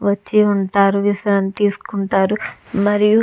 వచ్చి ఉంటారు విశ్రాంతి తీసుకుంటారు. మరియు --